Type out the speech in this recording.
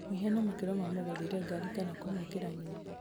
mũhiano makerwo mamũgũrĩre ngari kana kũmwakĩra nyũmba